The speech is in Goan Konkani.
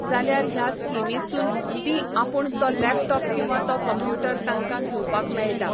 जाल्यार ह्या स्किमीसून तीं आपूण तो लॅपटॉप किंवा तो कंप्युटर तांकां घेवपाक मेळटा.